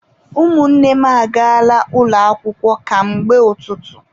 Ụmụnne m agaala ụlọ akwụkwọ ka mgbe ụtụtụ..